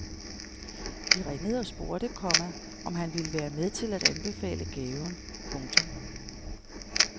De ringede og spurgte, komma om han ville være med til at anbefale gaven. punktum